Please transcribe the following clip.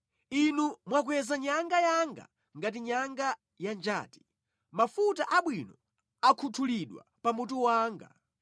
Inu mwakweza nyanga yanga ngati nyanga ya njati; mafuta abwino akhuthulidwa pamutu wanga.